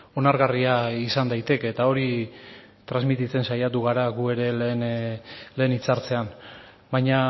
onargarria izan daiteke eta hori transmititzen saiatu gara gu ere lehen hitzartzean baina